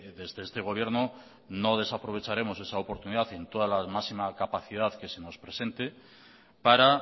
desde este gobierno no desaprovecharemos esa oportunidad en toda la máxima capacidad que se nos presente para